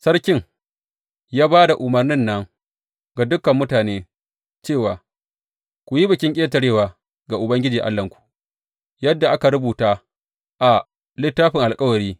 Sarkin ya ba da umarnin nan ga dukan mutane, cewa, Ku yi Bikin Ƙetarewa ga Ubangiji Allahnku, yadda aka rubuta a Littafin Alkawari.